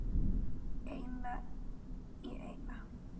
Eina í eina.